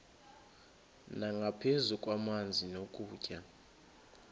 nangaphezu kwamanzi nokutya